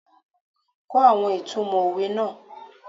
Kó àwọn ìtumò òwe náà.